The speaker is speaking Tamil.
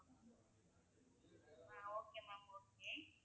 Okay ma'am okay.